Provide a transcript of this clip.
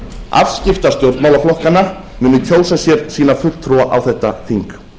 afskipta stjórnmálaflokkanna muni kjósa sér sína fulltrúa á þetta þing